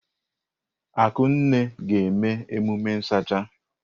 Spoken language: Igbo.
Akunne ga-eme emume nsacha.